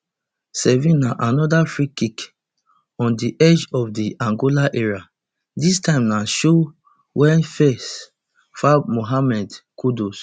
sevenanoda freekick on di edge of di angola area dis time na show wia foul mohammed kudus